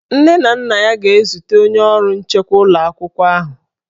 Nne na nna ya ga-ezute onye ọrụ nchekwa ụlọ akwụkwọ ahụ.